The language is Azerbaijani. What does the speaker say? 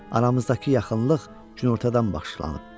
Aramızdakı yaxınlıq günortadan başlanıb.